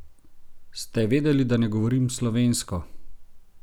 Ste vedeli, da ne govorim slovensko?